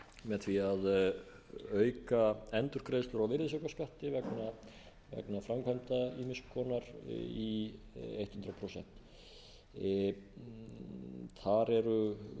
með því að auka endurgreiðslur á virðisaukaskatti vegna framkvæmda ýmiss konar í hundrað prósent þar eru hér með þessu máli verið